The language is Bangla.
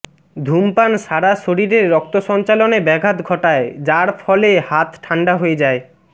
ধূমপান সারা শরীরে রক্ত সঞ্চালনে ব্যাঘাত ঘটায় যার ফলে হাত ঠান্ডা হয়ে যায়